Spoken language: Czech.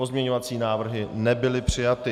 Pozměňovací návrhy nebyly přijaty.